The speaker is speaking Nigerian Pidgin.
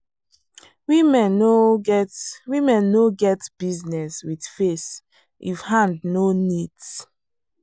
women no get women no get business with face if hand no neat.